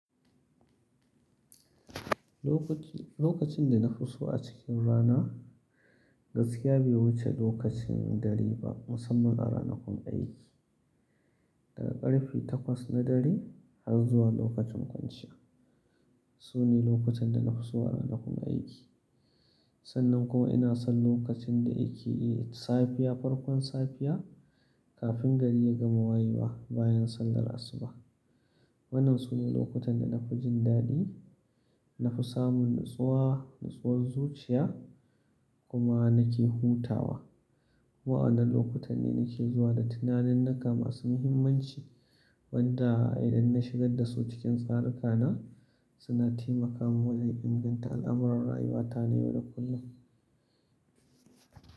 Lokaci, lokacin da na fi so a cikin rana gaskiya bai wuce lokacin dare ba musamman a ranakun aiki. Daga karfe takwas na dare har zuwa lokacin kwanciya sune lokutan da na fi so a ranakun aiki. Sannan kuma ina son lokacin da yake yi safiya farkon safiya kafin gari ya gama wayewa bayan sallar asuba. Waɗannan sune lokutan da na fi jin daɗi, na fi samun natsuwa, natsuwar zuciya kuma nake hutawa. Wa'annan lokuta ne nake zuwa da tunanin nika masu muhimmanci wanda idan na shigar dasu cikin tsaruka na suna taimaka mun wajen inganta al'amuran rayuwa ta na yau da kullum.